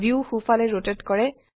view সোফালে rotate কৰে